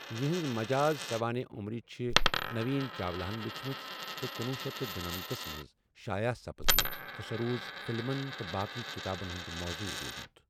یہنٛز مجاز سوانح عمری چھِ نوین چاولہن لیٖچھمٕژ تہٕ کنُۄہُ شیتھ تہٕ دُنمتس ہس منزشائع سپٕزمٕژ تہٕ سۅ روٗز فِلمن تہٕ باقےٕ کتابن ہُنٛد موضوع روٗدمُت۔